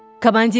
Komandir!